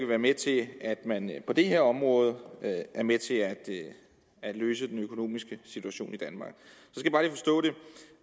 være med til at man på det her område er med til at løse den økonomiske situation i danmark